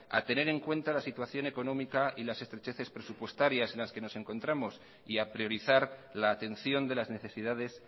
a tener en cuenta la situación económica y las estrecheces presupuestarias en la que nos encontramos y a priorizar la atención de las necesidades